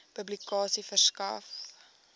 publikasie verskaf